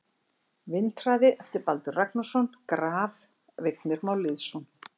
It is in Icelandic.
Vindhraði eftir Baldur Ragnarsson Graf: Vignir Már Lýðsson